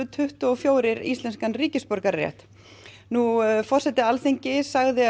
tuttugu og fjórir íslenskan ríkisborgararétt forseti Alþingis sagði